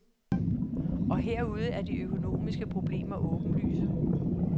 Og herude er de økonomiske problemer åbenlyse.